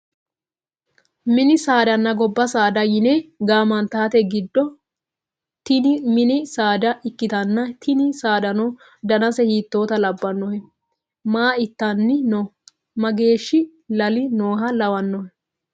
mini saadanna gobba saada yine gaamantite giddo tini mini saada ikkitanna, tini saadano danase hiittota labbannohe? maa itanni no? mageeshshi lali nooha lawannohe ?